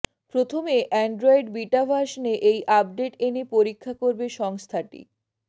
প্রথমে Android beta ভার্সানে এই আপডেট এনে পরীক্ষা করবে সংস্থাটি